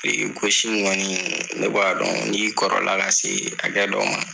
Birikigosi in kɔni ne b'a dɔn n'i kɔrɔla ka se hakɛ dɔ ma